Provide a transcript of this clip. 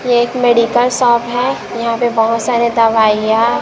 एक medical shop है यहां पे बहोत सारे दवाइयां--